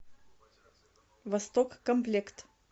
восток комплект